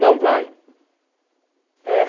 Não vai.